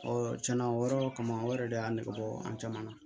tiɲɛna o yɔrɔ kama o yɛrɛ de y'a negebɔ an caman na